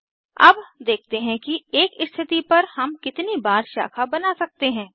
अब देखते हैं कि एक स्थिति पर हम कितनी बार शाखा बना सकते हैं